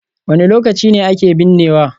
Wane lokaci ne ake binnewa?